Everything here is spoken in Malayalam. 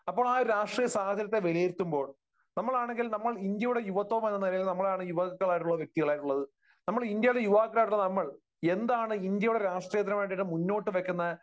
അപ്പോൾ ആ ഒരു രാഷ്ട്രീയ സാഹചര്യത്തെ വിലയിരുത്തുമ്പോൾ നമ്മളാണെങ്കിൽ നമ്മൾ ഇന്ത്യയുടെ യുവത്വം എന്നുള്ള നിലയിൽ നമ്മൾ ആൺ യുവാക്കൾ ആയിട്ടുള്ള വ്യക്തികളായിട്ടുള്ളത്. നമ്മൾ, ഇന്ത്യയുടെ യുവാക്കൾ ആയിട്ടുള്ള നമ്മൾ എന്താണ് ഇന്ത്യയുടെ രാഷ്ട്രീയത്തിനുവേണ്ടി മുന്നോട്ടു വയ്ക്കുന്ന